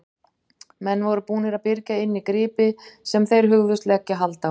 Menn voru búnir að byrgja inni gripi sem þeir hugðust leggja hald á.